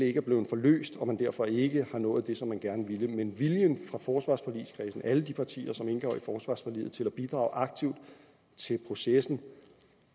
ikke er blevet forløst og at man derfor ikke har nået det som man gerne ville men viljen fra forsvarsforligskredsen alle de partier som indgår i forsvarsforliget til at bidrage aktivt til processen